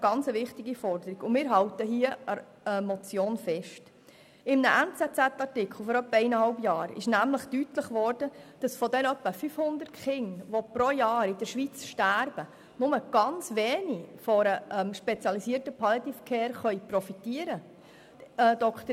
In einem vor ungefähr einem halben Jahr erschienen Artikel der «NZZ» wurde deutlich, dass von den rund 500 Kindern, die pro Jahr in der Schweiz sterben, nur sehr wenige von einer spezialisierten Palliative Care profitieren können.